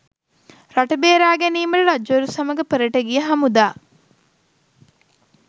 රට බේරා ගැනීමට රජවරු සමඟ පෙරට ගිය හමුදා